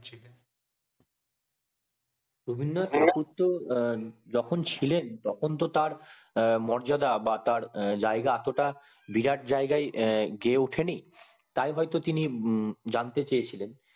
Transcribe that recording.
রবীন্দ্রনাথ ঠাকুর তো যখন ছিলেন তখন তো তার মর্যাদা বা জায়গা এত টা বিরাট জায়গায় গিয়ে উঠেনি তাই হয় তো তিনি জানতে চেয়েছিলেন